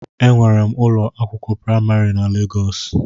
Enwere m ụlọ akwụkwọ praimarị na Legọs